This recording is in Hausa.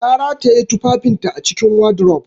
Ta rataye tufafinta a cikin wardrobe